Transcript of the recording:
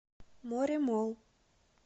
моремолл